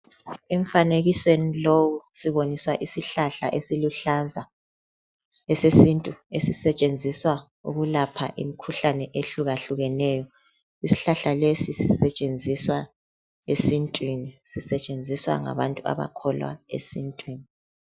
Emfanekisweni lowu siboniswa isihlahla esiluhlaza esesintu sisetshenziswa ukulapha imikhuhlane ehlukahlukeneyo. Isihlahla leso sisetshenziswa esintwini sisetshenziswa ngabantu abakholwa esintwini.